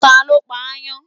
Ta ló pa ááyán?